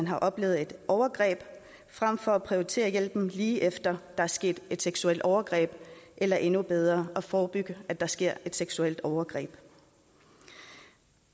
har oplevet et overgreb frem for at prioritere hjælp lige efter at der er sket et seksuelt overgreb eller endnu bedre at forebygge at der sker seksuelle overgreb